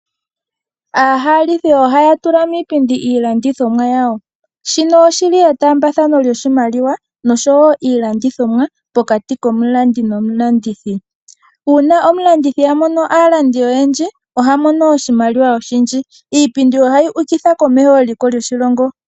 Aahalithi ohaya tula miipindi iilandithomwa yawo. Shino oshi li etaambathano lyoshimaliwa noshowo iilandithomwa pokati komulandi nomulandithi. Uuna omulandi a mono aalindi oyendji oha mono oshimaliwa oshindji. Iipindi ohayi ukitha komeho eliko lyoshilongo.